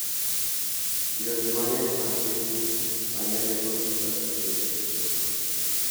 Yore mang'eny mag menyo ma nene oti godo e yore nonro